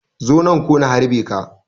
Zo nan ko na harbe ka.